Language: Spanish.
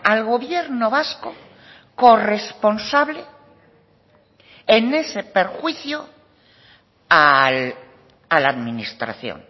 al gobierno vasco corresponsable en ese perjuicio a la administración